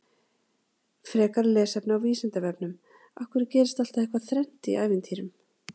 Frekara lesefni á Vísindavefnum: Af hverju gerist alltaf eitthvað þrennt í ævintýrum?